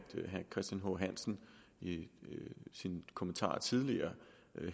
herre christian h hansen i sine kommentarer tidligere